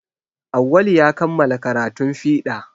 Awwalu ya kamala karatun fiɗa